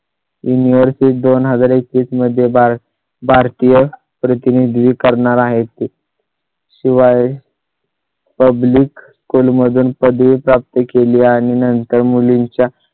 invert दोन हजार एकवीस मध्ये बारा भारतीय प्रतिनिधी करणार आहेत ते . शिवाय public school मधून पदवी प्राप्त केली आणि नंतर मुलींच्या